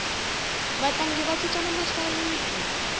vatlangi va cincana masayiti